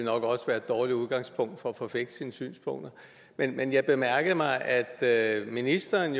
nok også være et dårligt udgangspunkt for at forfægte sine synspunkter men jeg bemærkede mig jo at ministeren